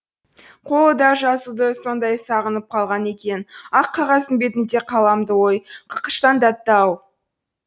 қолы да жазуды сондай сағынып қалған екен ақ қағаздың бетінде қаламды ой қақыштандатты ау